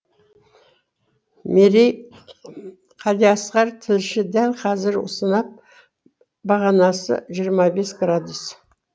мерей қалиасқар тілші дәл қазір сынап бағанасы жиырма бес градус